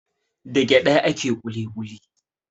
Da gyaɗa ake kuli kuli.